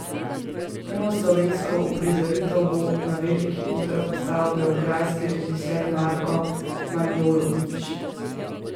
Prvo slovensko uprizoritev bo na veliki oder postavil beograjski režiser Marko Manojlović.